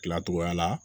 Tilacogoya la